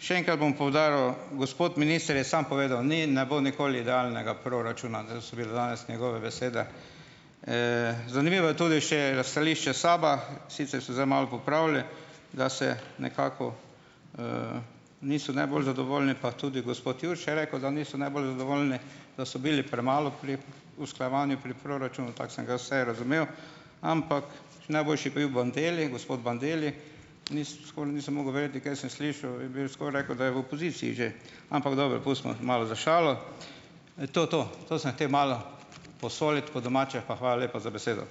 še enkrat bom poudaril - gospod minister je sam povedal, ni, ne bo nikoli idealnega proračuna, zel so bile danes njegove besede. Zanimivo je tudi še stališče SAB-a, sicer so zdaj malo popravili, da se nekako, niso najbolj zadovoljni, pa tudi gospod Jurša je rekel, da niso najbolj zadovoljni, da so bili premalo pri usklajevanju pri proračunu - tako sem ga jaz vsaj razumel, ampak še najboljši pa je bil Bonteli, gospod Bandelli - skoraj nisem mogel verjeti, kaj sem slišal, jaz bi v skoraj rekel, da je v opoziciji že, ampak dobro, pustimo, malo za šalo. To to, to sem hotel malo posoliti, po domače, pa hvala lepa za besedo.